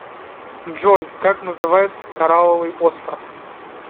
джой как называется корраловый остров